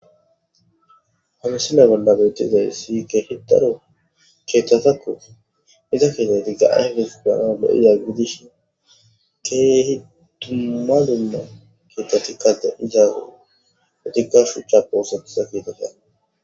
hamisilay bolla betizay si keehitaro keettatakkof iza kite tigga ihdes ganale7iza gidishin keehi duma dunna keetta tikkade izaago otikka shu cha pohosatusa kiitakea